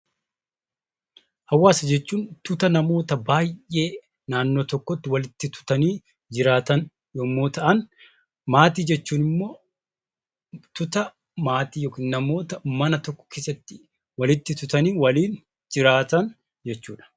Hawaasa jechuun tuuta namoota baay'ee naannoo tokkotti walitti tutanii jiraaatan yommuu ta'an, maatii jechuun immoo tuuta maatii yookiin namoota mana tokko keessatti walitti tutanii jiraaatan jechuu dha.